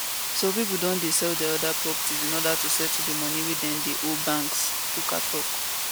so pipo don dey sell dia oda properties in oda to settle di money wey dem dey owe banks puka tok